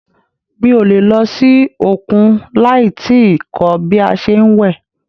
Mi o le lọ sí òkun láì tíì kọ́ bí a ṣe ń wẹ̀.